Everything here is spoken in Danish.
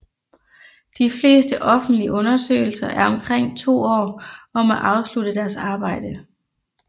De fleste offentlige undersøgelser er omkring to år om at afslutte deres arbejde